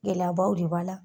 Gɛlɛyabaw de b'a la.